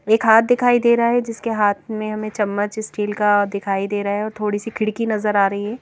एक हाथ दिखाई दे रहा है जिसके हाथ में हमें चम्मच स्टील का दिखाई दे रहा है और थोड़ी सी खिड़की नजर आ रही है।